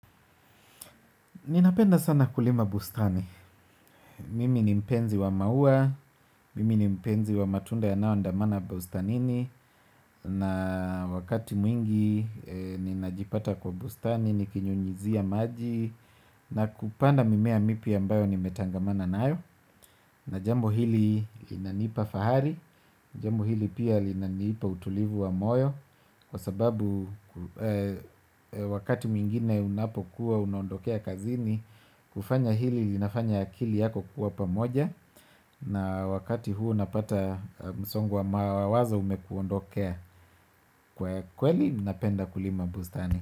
Ninapenda sana kulima bustani. Mimi ni mpenzi wa maua, mimi ni mpenzi wa matunda yanayoandamana bustanini, na wakati mwingi ninajipata kwa bustani, nikinyunyizia maji, na kupanda mimea mipya ambayo nimetangamana nayo, na jambo hili linanipa fahari, jambo hili pia linanipa utulivu wa moyo, kwa sababu wakati mwingine unapokuwa unaondokea kazini. Kufanya hili linafanya akili yako kuwa pamoja. Na wakati huu napata msongo wa mawazo umekuondokea. Kwa kweli napenda kulima bustani.